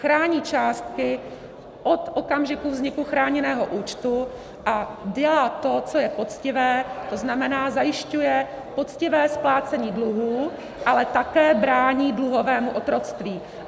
Chrání částky od okamžiku vzniku chráněného účtu a dělá to, co je poctivé, to znamená, zajišťuje poctivé splácení dluhů, ale také brání dluhovému otroctví.